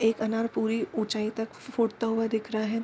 एक अनार पुरी ऊँचाई तक फूटता हुआ दिख रहा है।